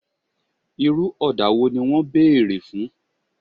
Irú ọ̀dà wo ni wọn béèrè fún?